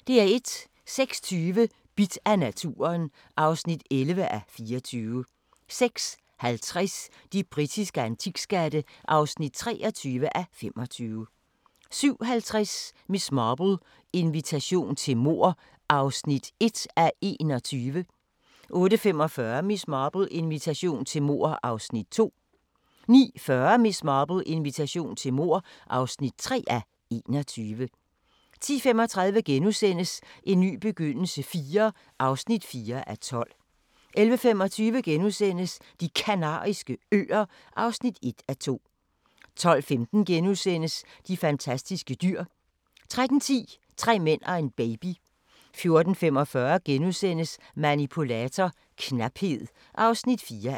06:20: Bidt af naturen (11:24) 06:50: De britiske antikskatte (23:25) 07:50: Miss Marple: Invitation til mord (1:21) 08:45: Miss Marple: Invitation til mord (2:21) 09:40: Miss Marple: Invitation til mord (3:21) 10:35: En ny begyndelse IV (4:12)* 11:25: De Kanariske Øer (1:2)* 12:15: De fantastiske dyr * 13:10: Tre mænd og en baby 14:45: Manipulator - knaphed (4:6)*